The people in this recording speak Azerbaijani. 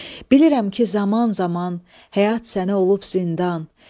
Bilirəm ki, zaman-zaman həyat sənə olub zindan.